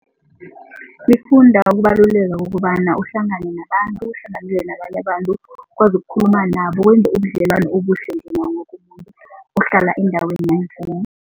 Ukubaluleka kukobana uhlangane nabantu, uhlanganyele nabanye abantu. Ukwazi ukukhuluma nabo, wenze ubudlelwano obuhle njengawo woke umuntu ohlala endaweni